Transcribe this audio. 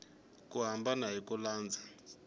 ku hambana hi ku landza